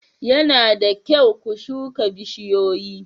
Yana da kyau ku shuka bishiyoyi.